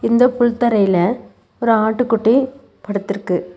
இந்த புல் தரையில ஒரு ஆட்டுக்குட்டி படுத்துருக்கு.